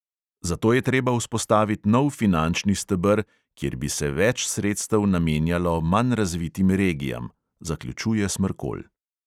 "Zato je treba vzpostavit nov finančni steber, kjer bi se več sredstev namenjalo manj razvitim regijam," zaključuje smrkolj.